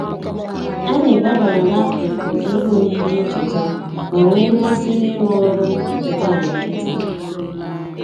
Anyị gbabara n'akụkụ ihe oyiyi ncheta ma nwee mmasị n'ịrụ ọrụ nka na nkịtị